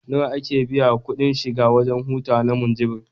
Nawa ake biya kuɗin shiga wajen hutawa na Munjibir?